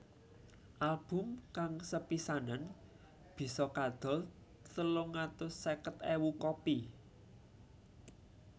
Album kang sepisanan bisa kadol telung atus seket ewu kopi